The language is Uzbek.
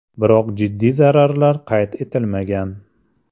Biroq jiddiy zararlar qayd etilmagan.